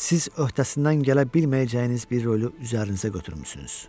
Siz öhdəsindən gələ bilməyəcəyiniz bir rolu üzərinizə götürmüsünüz.